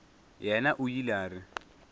yena o ile a re